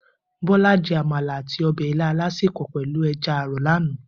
Bola jè ámàlá àtí òbè ilã àlásépò pèlú èjà àrò làná